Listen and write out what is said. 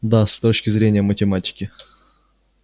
да с точки зрения математики